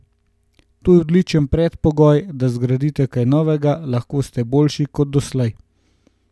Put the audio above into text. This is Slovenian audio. To je odličen predpogoj, da zgradite kaj novega, lahko ste boljši kot doslej.